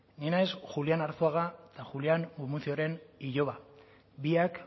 ni naiz julián arzuaga eta julián gumuzioren iloba biak